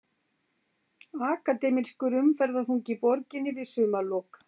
Akademískur umferðarþungi í borginni við sumarlok